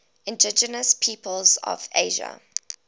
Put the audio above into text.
indigenous peoples of asia